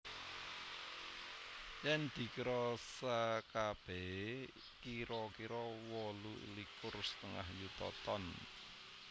Yèn dikira sakabèhé kira kira wolu likur setengah yuta ton